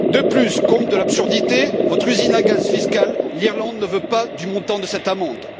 De plus, comble de l'absurdité, votre usine à gaz fiscale l'Irlande ne veut pas du montant de cette amende.